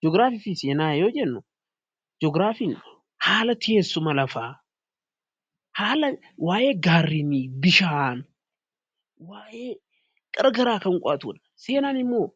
Ji'ograafii fi seenaa yoo jennu ji'ograafiin haala teessuma lafaa, haala waa'ee gaarreenii, bishaan, waaa'ee gara garaa kan qo'atudha. Seenaan immoo